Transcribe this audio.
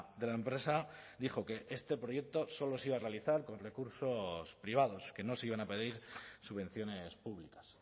de la empresa dijo que este proyecto solo se iba a realizar con recursos privados que no se iban a pedir subvenciones públicas